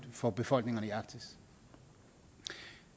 for befolkningerne i arktis